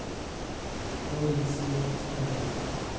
Louise Lidström